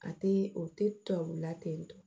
A tɛ o tɛ tubabula ten tɔ